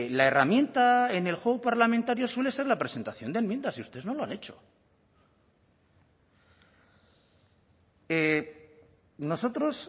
la herramienta en el juego parlamentario suele ser la presentación de enmiendas y ustedes no lo han hecho nosotros